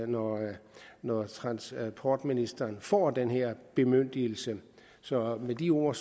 når når transportministeren får den her bemyndigelse så med de ord